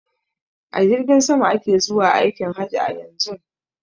A jirgin sama ake zuwa aikin haji a yanzun.